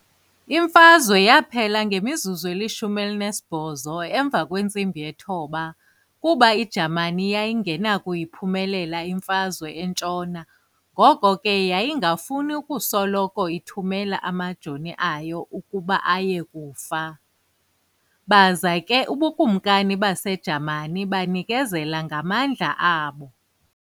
Imfazwe yaphela ngo-918 kuba iJamani yayingenakuyiphumelela imfazwe entshona ngoko ke yayingafuni ukusoloko ithumela amajoni ayo ukuba aye kufa, baza ke ubuKumkani baseJamani banikezela ngamandla abo.